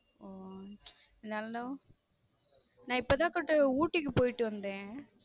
ஓஹ இருந்தாலும நான் இப்போதான் அக்கா ஊட்டிக்கு போயிட்டு வந்தேன்.